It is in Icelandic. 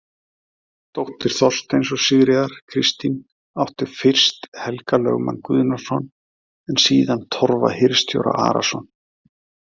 Dóttir Þorsteins og Sigríðar, Kristín, átti fyrst Helga lögmann Guðnason en síðan Torfa hirðstjóra Arason.